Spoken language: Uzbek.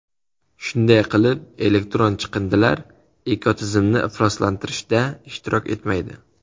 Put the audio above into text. Shunday qilib, elektron chiqindilar ekotizimni ifloslantirishda ishtirok etmaydi.